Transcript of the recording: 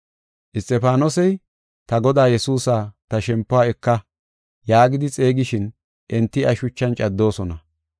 Isxifaanosey, “Ta Godaa Yesuusa, ta shempuwa eka” yaagidi xeegishin enti iya shuchan caddoosona.